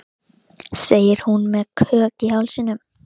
Kristinn hafði ekið yfir á rauðu á mótum Miklubrautar og